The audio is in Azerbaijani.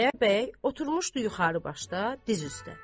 Xudayar bəy oturmuşdu yuxarı başda diz üstə.